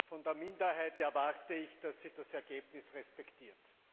Von der Minderheit erwarte ich, dass sie das Ergebnis respektiert!